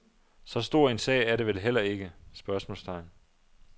Så stor en sag er det vel heller ikke? spørgsmålstegn